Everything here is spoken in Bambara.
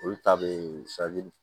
Olu ta bɛ